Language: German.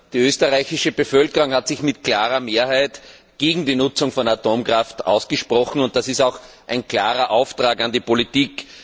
Die österreichische Bevölkerung hat sich mit klarer Mehrheit gegen die Nutzung von Atomkraft ausgesprochen, und das ist auch ein klarer Auftrag an die Politik.